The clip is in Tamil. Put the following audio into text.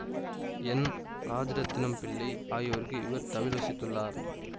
என் ராஜரத்தினம் பிள்ளை ஆகியோருக்கு இவர் தவில் வாசித்துள்ளார்